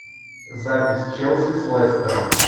запись челси с лестером